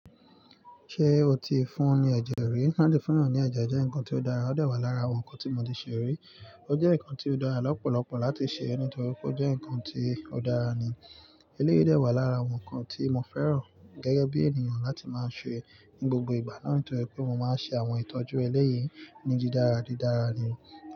Ṣé o ti fún ní ẹ̀jẹ̀ rí? Láti fún èyàn ní ẹ̀jẹ̀ jẹ́ nǹkan tó dára, ó dà wá lára àwọn nǹkan tí mo ti ṣe rí. O jẹ́ nǹkan tó dára lọ́pọ̀lọpọ̀ láti ṣe nítorí pé ó jẹ́ nǹkan tí ó dára ni. Eléyìí dẹ̀ wà lára àwọn nǹkan tí mo fẹ́ràn gẹ́gẹ́ bí ènìyàn láti máa ṣe ní gbogbo ìgbà, nítorí pé mo máa ń ṣe àwọn ìtọ́jú ẹlẹ́yìí ní dì dára didára ni.